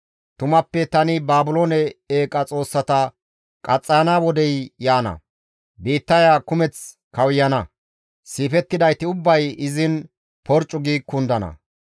Tumappe tani Baabiloone eeqa xoossata qaxxayana wodey yaana; biittaya kumeth kawuyana; siifettidayti ubbay izin porccu gi kundana.